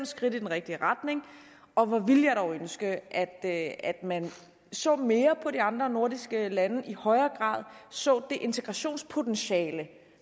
skridt i den rigtige retning og hvor ville jeg dog ønske at at man så mere på de andre nordiske lande og i højere grad så det integrationspotentiale